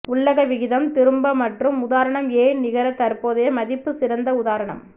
உள்ளக விகிதம் திரும்ப மற்றும் உதாரணம் ஏன் நிகர தற்போதைய மதிப்பு சிறந்த உதாரணம்